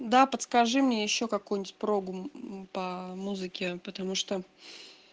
да подскажи мне ещё какую-нибудь прогу по музыке потому что